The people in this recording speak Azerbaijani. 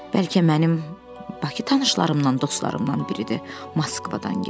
Bəlkə mənim Bakı tanışlarımdan, dostlarımdan biridir, Moskvadan gələn?